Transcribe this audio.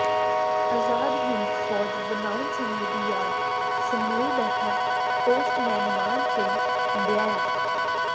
ਆਜ਼ਾਦ ਹਿੰਦ ਫ਼ੌਜ ਬਣਾਉਣ ਸਮੇਂ ਦੀ ਯਾਦ ਸਮੋਈ ਬੈਠਾ ਪੋਸਟਮੈਨ ਮਾਨ ਸਿੰਘ ਹੰਡਿਆਇਆ